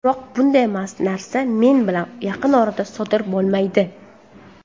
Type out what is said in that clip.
Biroq bunday narsa men bilan yaqin orada sodir bo‘lmaydi.